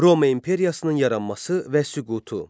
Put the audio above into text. Roma imperiyasının yaranması və süqutu.